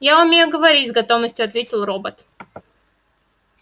я умею говорить с готовностью ответил робот